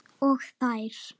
Og þær.